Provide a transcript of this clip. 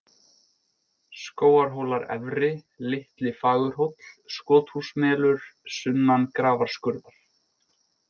Skógarhólar efri, Litli-Fagurhóll, Skothúsmelur, Sunnan Grafarskurðar